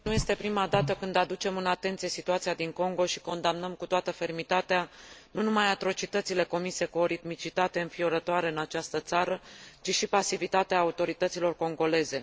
Nu este prima dată când aducem în atenție situația din Congo și condamnăm cu toată fermitatea nu numai atrocitățile comise cu o ritmicitate înfiorătoare în această țară, ci și pasivitatea autorităților congoleze.